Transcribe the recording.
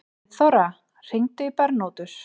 Friðþóra, hringdu í Bernótus.